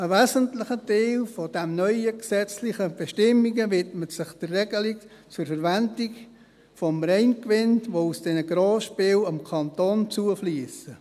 Ein wesentlicher Teil der neuen gesetzlichen Bestimmungen widmet sich der Regelung zur Verwendung von Reingewinnen, die aus diesen Grossspielen dem Kanton zufliessen.